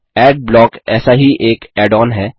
Adblock ऐसा ही एक ऐड ओन है